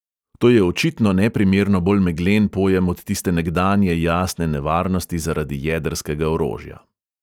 To je očitno neprimerno bolj meglen pojem od tiste nekdanje jasne nevarnosti zaradi jedrskega orožja.